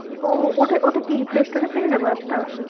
ও ওটা ওটা কি? play store এ পেয়ে যাবো app টা?